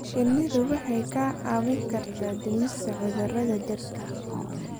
Shinnidu waxay kaa caawin kartaa dhimista cudurrada dhirta.